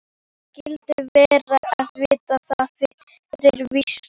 Hvernig skyldi vera að vita það fyrir víst.